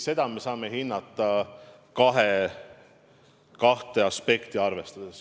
Seda me saame hinnata kahte aspekti arvestades.